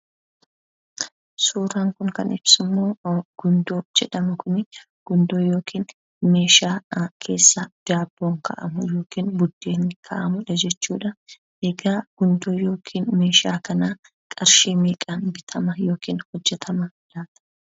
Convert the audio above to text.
Suuraan kun, kan ibsu Gundoo yookiin meeshaan daabboon keessa taa'u, biddeena keessa kaa'amudha jechuudha. egaa Gundoo yookiin meeshaa kana qarshii meeqan bitama, yookiin hojjetama.